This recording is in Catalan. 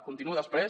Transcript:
continuo després